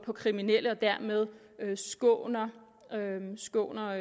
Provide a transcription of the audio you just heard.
på kriminelle og dermed skåner